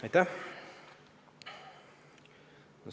Aitäh!